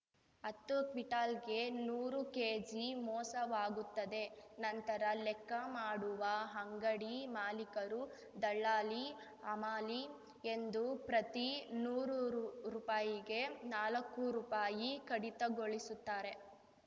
ಹತ್ತು ಕ್ವಿಟಾಲ್ಗೆ ನೂರು ಕೆಜಿ ಮೋಸವಾಗುತ್ತದೆ ನಂತರ ಲೆಕ್ಕ ಮಾಡುವ ಅಂಗಡಿ ಮಾಲಿಕರು ದಲ್ಲಾಳಿಹಮಾಲಿ ಎಂದು ಪ್ರತಿ ನೂರು ರು ರೂಪಾಯಿಗೆ ನಾಲಕ್ಕು ರೂಪಾಯಿ ಕಡಿತಗೊಳಿಸುತ್ತಾರೆ